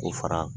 K'o fara